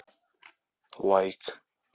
лайк